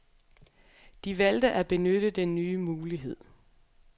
De valgte at benytte den nye mulighed.